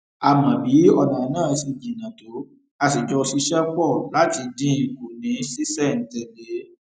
a mọ bí ònà náà ṣe jìnnà tó a sì jọ ṣiṣé pò láti dín in kù ní ṣísèntèlé